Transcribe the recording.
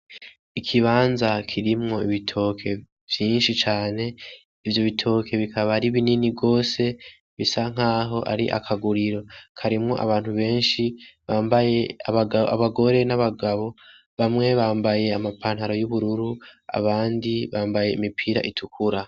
Ikibanza kirimwo ibitoke vyinshi cane ivyo bitoke bikaba ari binini gose bisa nkuko ari akaguriro karimwo abantu benshi abagore n'abagabo bamwe bambaye ama pantaro y'ubururu abandi bambaye Imipira itukura.